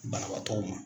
Banabaatɔw ma